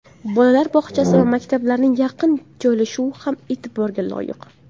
Bolalar bog‘chasi va maktablarning yaqin joylashuvi ham e’tiborga loyiq.